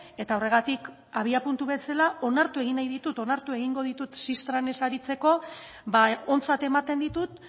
eta horregatik abiapuntu bezala onartu egin nahi ditut onartu egingo ditut xistran ez aritzeko ontzat ematen ditut